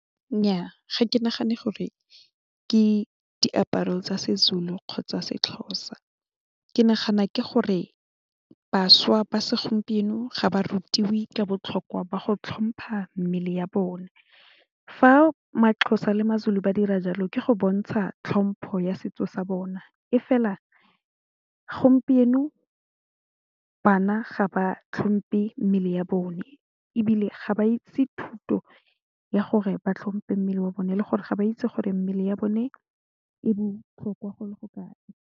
Nnyaa ga ke nagane gore ke diaparo tsa se'Zulu kgotsa se'Xhosa ke nagana ke gore bašwa ba segompieno ga ba rutiwe ka botlhokwa jwa go tlhompha mmele ya bone fa ma'Xhosa le ma'Zulu ba dira jalo ke go bontsha tlhompho ya setso sa bona e fela gompieno bana ga ba tlhompe mmele ya bone ebile ga ba itse thuto ya gore ba tlhompe mmele wa bone le gore ga ba itse gore mmele ya bone e botlhokwa go le go kae.